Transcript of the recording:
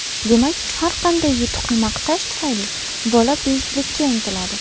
Demak, har qanday yutuqni maqtash tufayli bola buyuklikka intiladi.